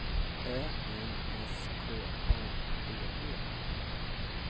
Ö N S K A D E